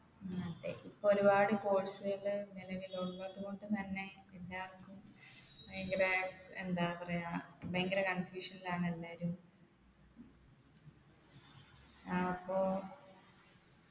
ഉം അതെ ഇപ്പൊ ഒരുപാട് course കൾ നിലവിലുള്ളത് കൊണ്ട് തന്നെ എല്ലാർക്കും ഭയങ്കര എന്താ പറയാ ഭയങ്കര confusion ലാണ് എല്ലാരും ആപ്പൊ